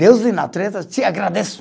Deus de natureza e te agradece.